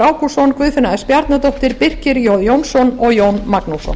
ágústsson guðfinna s bjarnadóttir birkir j jónsson og jón magnússon